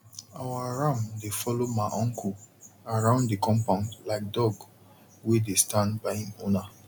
our ram dey follow ma uncle around the compound like dog wey dey stand by him owner